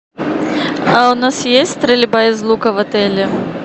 а у нас есть стрельба из лука в отеле